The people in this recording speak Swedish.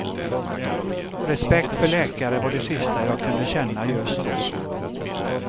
Respekt för läkare var det sista jag kunde känna just då.